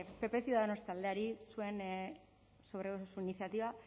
pp ciudadanos taldeari zuen sobre su iniciativa